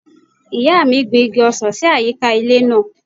Ìyá mi gbin igi ọsàn sí àyíká ilé náà.